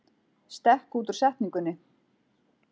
Stekk út úr setningunni